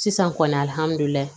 Sisan kɔni alihamdulila